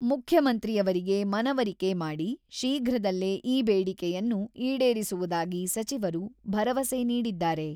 ಮುಖ್ಯಮಂತ್ರಿಯವರಿಗೆ ಮನವರಿಕೆ ಮಾಡಿ, ಶೀಘ್ರದಲ್ಲೇ ಈ ಬೇಡಿಕೆಯನ್ನು ಈಡೇರಿಸುವುದಾಗಿ ಸಚಿವರು ಭರವಸೆ ನೀಡಿದ್ದಾರೆ.